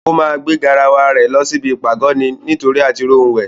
Ó máa gbé garawa rẹ̀ lọ sí ibi ìpàgọ́ ni nítórí àtirí ohun wẹ̀.